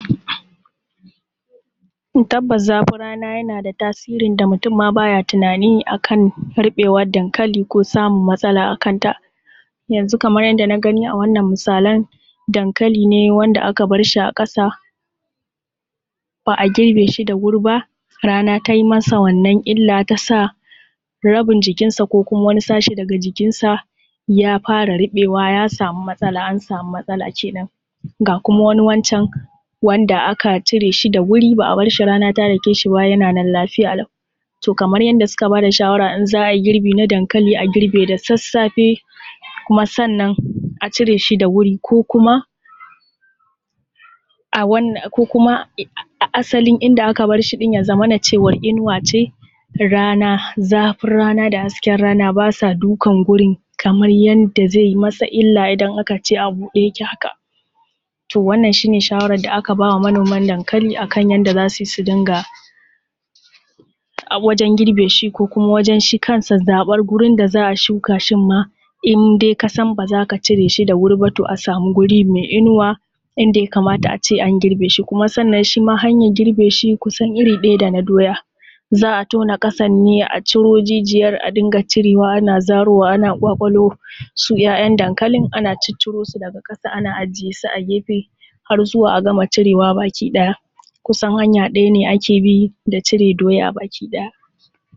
Tabbas zafin rana yana da tasiri da mutum ma baya tunani akan ruɓewar dankali ko samun matsala akanta. Yanzu kaman yadda na gani a wannan misalan, dankali ne wanda aka barshi a ƙasa ba a girbe shi da wuri ba rana tai masa wannan illa ta sa rabin jikinsa ko kuma wani sashe daga jikinsa ya fara ruɓewa ya samu matsala, an samu matsala kenan. Ga kuma wani wancan wanda aka cire shi da wuri ba a barshi rana ta dake shi ba yana nan lafiya lau. To kamar yanda suka ba da shawara in za a yi girbi na dankali a girbe da sassafe kuma sannan a cire shi da wuri ko kuma a wanna, ko kuma asalin inda aka barshi ɗin ya zamana cewar inuwa ce, rana zafin rana da hasken rana ba sa dukan gurin kamar yadda zai masa illa idan aka ce a buɗe yake haka. To wannan shi ne shawaran da aka ba wa manoman dankali akan yadda za su yi su dinga wajen girbe shi ko kuma wajen shi kansa zaɓan gurin da za a shuka shin ma in dai ka san ba za ka cire shi da wuri ba a samu guri mai inuwa inda ya kamata a ce an girbe shi. Kuma sannan shima hanyar girbe shi kusan iri ɗaya da na doya, za a tona ƙasan ne a ciro jijiyan a dinga cire wa ana zaro wa ana ƙwaƙwalo su ‘ya’yan dankalin, ana ciccirosu daga ƙasa ana ajiye su a gefe har zuwa a gama cire wa baki ɗaya, kusan hanya ɗaya ne ake bi da cire doya baki ɗaya.